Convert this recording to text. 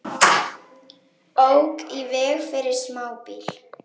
Ók í veg fyrir smábíl